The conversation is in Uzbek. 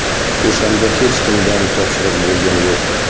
O‘shanda hech kimdan topshiriq bo‘lgani yo‘q.